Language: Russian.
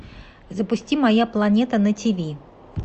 запусти моя планета на тиви